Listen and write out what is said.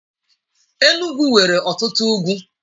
Enugwu nwere ọtụtụ ugwu.